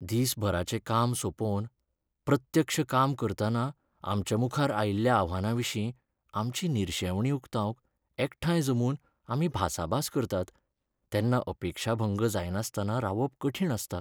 दिसभराचें काम सोंपोवन, प्रत्यक्ष काम करतना आमच्यामुखार आयिल्ल्या आव्हानांविशीं आमची निरशेवणी उक्तावंक एकठांय जमून आमी भासाभास करतात, तेन्ना अपेक्षाभंग जायनासतना रावप कठीण आसता. .